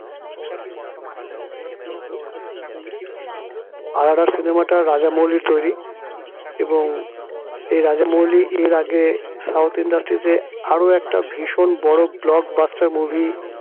RRR cinema টা রাজা মৌলির তৈরী এবং এই রাজা মৌলি এর আগে south industry তে আরো একটা ভীষণ বড় blockbuster movie